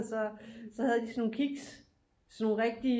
Og så så havde de sådan nogle kiks sådan nogle rigtig